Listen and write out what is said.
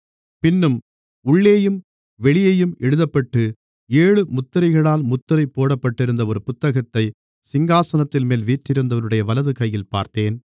பின்னும் உள்ளேயும் வெளியேயும் எழுதப்பட்டு ஏழு முத்திரைகளால் முத்திரை போடப்பட்டிருந்த ஒரு புத்தகத்தை சிங்காசனத்தின்மேல் வீற்றிருந்தவருடைய வலது கையிலே பார்த்தேன்